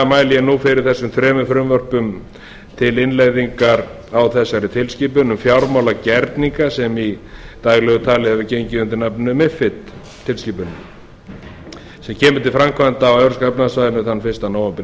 ég nú fyrir þessum þremur frumvörpum til innleiðingar á þessari tilskipun um fjármálagerninga sem í daglegu tali hefur gengið undir nafninu mifid tilskipunin sem kemur til framkvæmda á evrópska efnahagssvæðinu þann fyrsta nóvember